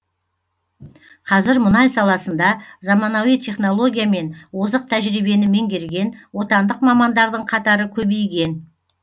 қазір мұнай саласында заманауи технология мен озық тәжірибені меңгерген отандық мамандардың қатары көбейген